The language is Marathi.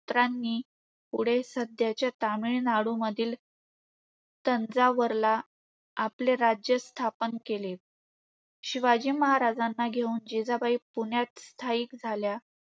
पुत्रांनी समोर तामिळनाडूमधील तंजावरला आपले राज्य स्थापन केले. शिवाजी महाराजांना घेऊन जिजाबाई पुण्यात स्थायिक झाल्या.